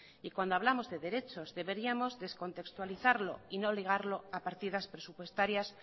y cuando hablamos de derechos deberíamos descontextualizarlo y no ligarlo a partidas presupuestarias